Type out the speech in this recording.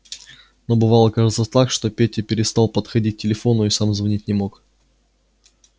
но бывало кажется так что петя переставал подходить к телефону и сам звонить не мог